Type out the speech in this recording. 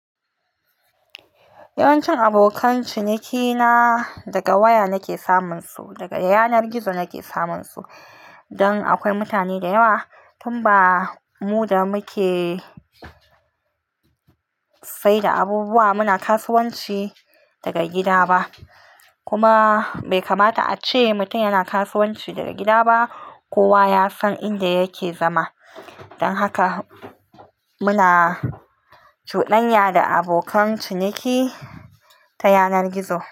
Yawancin abokan cinikina daga waya nake samun su, daga yanar gizo nake samun su. Dan akwai mutane da yawa, tun ba mu da muke saida abubuwa muna kasuwanci daga gida ba. Kuma bai kamata a ce mutum yana kasuwanci daga gida ba. Kowa ya san inda yake zama. Don haka muna cudanya da abokan ciniki ta yanar gizo.